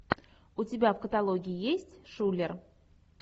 у тебя в каталоге есть шулер